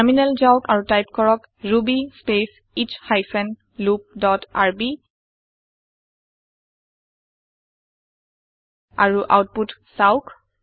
terminal যাওক আৰু type কৰক ruby space S hyphen loop dot RB আৰু আওতপুত চাওঁক